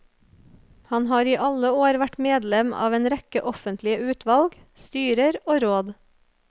Han har i alle år vært medlem av en rekke offentlige utvalg, styrer og råd.